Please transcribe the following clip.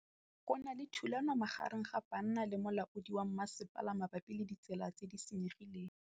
Go na le thulanô magareng ga banna le molaodi wa masepala mabapi le ditsela tse di senyegileng.